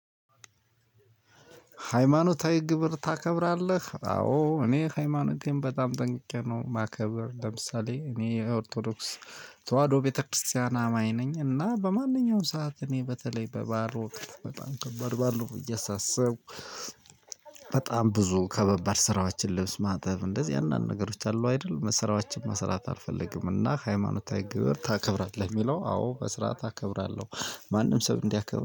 ሃይማኖታዊ ግብር ታከብራለህ? አዎ እኔ ሃይማኖቴን በጣም ጠንቅቄ ነው ማከበር ለምሳሌ እኔ ኦርቶዶክስ ተዋህዶ ቤተክርስቲያን አማኝ ነኝ። እና በማንኛውም ሰዓት እኔ በተለይ በባዕል ወቅት በጣም ከባድ ባእል ነው ብዬ ሳስብ በጣም ብዙ ከባባድ ስራዎችን ልብስ ማጠብ እንደዚህ አይነት ምናምን ነገሮች አሉ አይደል? ስራዎችን መስራት አልፈልግም። እና ሃይማኖታዊ ግብር ታከብራለህ የሚለው አዎ በስራት አከብራለሁ። ማንም ሰው እንዲያከብር